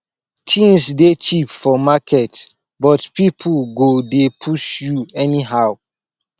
tins dey cheap for market but pipo go dey push you anyhow